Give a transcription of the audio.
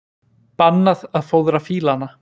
Bannað að fóðra fílana